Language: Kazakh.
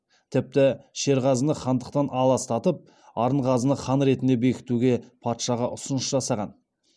тіпті шерғазыны хандықтан аластатып арынғазыны хан ретінде бекітуге патшаға ұсыныс жасаған